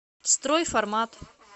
стройформат